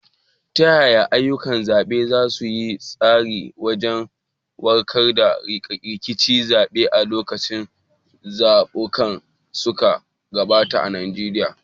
Ta yaya ayyukan zaɓe suka yi tasiri wajen warware rikicin zaɓe a lokacin zaɓukan da suka gabata a Najeriya?